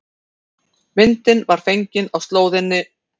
Myndin var fengin á slóðinni